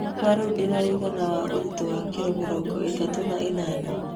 Kwa rĩu ndĩna ũigana Wa ũritũ wa kiro mĩrongo ĩtatũ na ĩnana